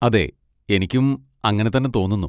അതെ, എനിക്കും അങ്ങനെ തന്നെ തോന്നുന്നു.